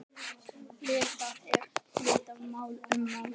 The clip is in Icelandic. Lítið er vitað um málið.